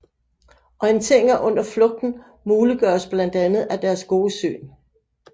Orienteringen under flugten muliggøres blandt andet af deres gode syn